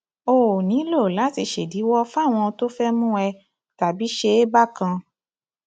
o ò nílò láti ṣèdíwọ fáwọn tó fẹẹ mú ẹ tàbí ṣe é bákan